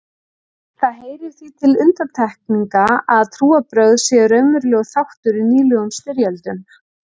Það heyrir því til undantekninga að trúarbrögð séu raunverulegur þáttur í nýlegum styrjöldum.